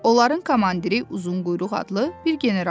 Onların komandiri Uzunquyruq adlı bir general idi.